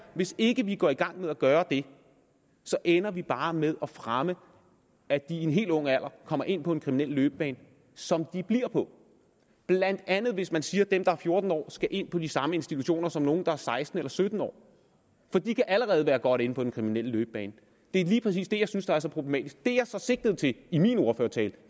hvis ikke vi går i gang med at gøre det ender vi bare med at fremme at de i en helt ung alder kommer ind på en kriminel løbebane som de bliver på blandt andet hvis man siger at dem der er fjorten år skal ind på de samme institutioner som nogle der er seksten år eller sytten år for de kan allerede være godt inde på den kriminelle løbebane det er lige præcis det jeg synes der er så problematisk det jeg så sigtede til i min ordførertale